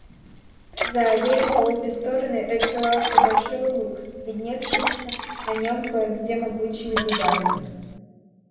за аллеей по обе стороны расстилался большой луг с видневшимися на нём кое-где могучими дубами